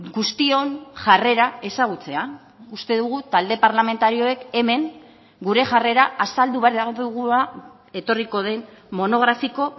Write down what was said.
guztion jarrera ezagutzea uste dugu talde parlamentarioek hemen gure jarrera azaldu behar dugula etorriko den monografiko